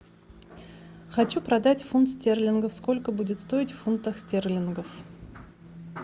хочу продать фунт стерлингов сколько будет стоить в фунтах стерлингов